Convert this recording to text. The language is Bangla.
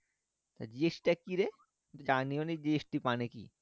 GST তা কিরে জানিওনা GST মানে কি